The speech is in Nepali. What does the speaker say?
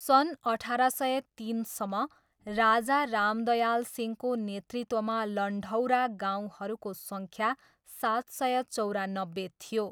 सन् अठार सय तिनसम्म, राजा रामदयाल सिंहको नेतृत्वमा लन्ढौरा गाउँहरूको सङ्ख्या सात सय चौरानब्बे थियो।